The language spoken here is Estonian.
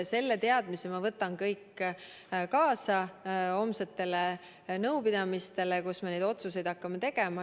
Selle teadmise võtan ma kaasa homsetele nõupidamistele, kus me neid otsuseid hakkame tegema.